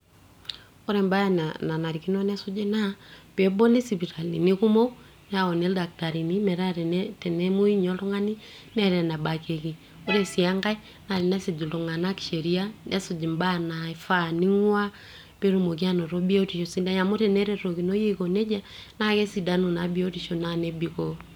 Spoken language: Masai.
ore embaye nanarikino nesuji naa peeboli isipitalini kumok neyauni ildaktarini metaa tene, tenemoi ninye oltung'ani neeta enebakieki ore sii enkae naa tenesuj iltung'anak sheria nesuj imbaa naifaa ning'uaa petumoki anoto biotisho sidai amu teneretokinoi aiko nejia naa kesidanu naa biotisho nebikoo.